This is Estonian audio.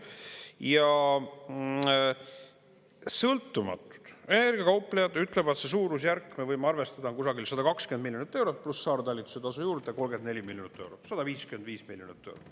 Ja sõltumatud ... kauplejad ütlevad, see suurusjärk, me võime arvestada kusagil 120 miljonit eurot, pluss saartalitluse tasu juurde 34 miljonit eurot, 155 miljonit.